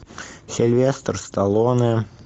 сильвестр сталлоне